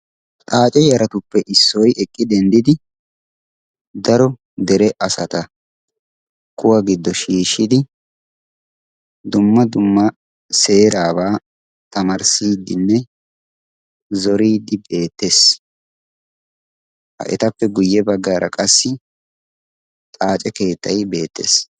Xaace yaratuppe issoy eqqi dendidi daro dere asaata kuwa giddo shiishidi dumma dumma seeraabaa tamarssiiddinne zoriiddi beettes. Etappe guyye baggaara qassi xaace keettay beettes.